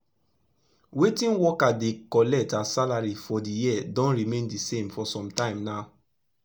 wetin worker dey collect as salary for d year don remain d same for sum tyms now